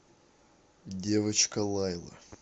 девочка лайла